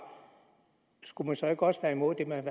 skulle man så ikke også være imod det man